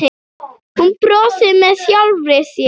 Hún brosir með sjálfri sér.